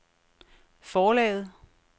forlaget